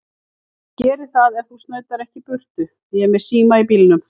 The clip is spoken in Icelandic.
Ég geri það ef þú snautar ekki í burtu. ég er með síma í bílnum.